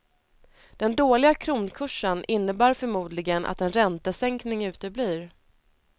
Den dåliga kronkursen innebär förmodligen att en räntesänkning uteblir.